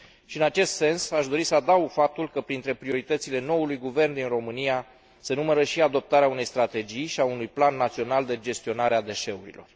În acest sens aș dori să adaug faptul că printre prioritățile noului guvern din România se numără și adoptarea unei strategii și a unui plan național de gestionare a deșeurilor.